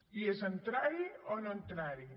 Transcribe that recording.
i és entrar hi o no entrar hi